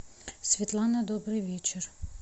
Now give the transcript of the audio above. светлана добрый вечер